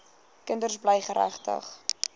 kinders bly geregtig